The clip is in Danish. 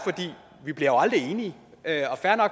vi bliver jo aldrig enige